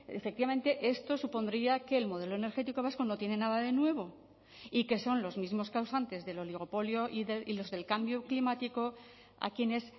efectivamente esto supondría que el modelo energético vasco no tiene nada de nuevo y que son los mismos causantes del oligopolio y los del cambio climático a quienes